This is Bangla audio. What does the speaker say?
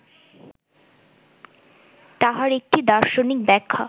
তাহার একটি দার্শনিক ব্যাখ্যা